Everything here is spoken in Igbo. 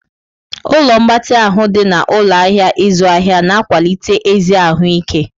Ụlọ mgbatị ahụ dị na ụlọ ahịa ịzụ ahịa na-akwalite ezi ahụ ike.